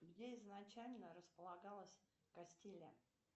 где изначально располагалась кастилия